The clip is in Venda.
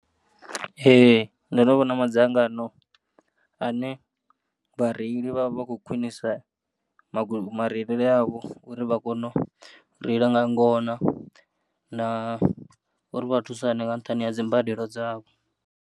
Ee, nṋe ndonovhona madzangano ane vhareili vha vha vhakho khwinisa magwe ma reilele avho uri vhakono reila nga ngona, na uri vha thusane nga nṱhani ha dzi mbadelo dzavho.